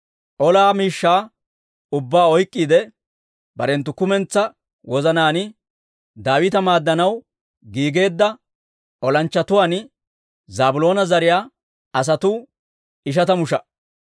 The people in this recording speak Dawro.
Ola shaluwaa ubbaa oyk'k'iide, barenttu kumentsaa wozanaan Daawita maaddanaw giigeedda olanchchatuwaan Zaabiloona zariyaa asatuu ishatamu sha"a.